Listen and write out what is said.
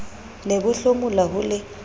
ne bo hlomola ho le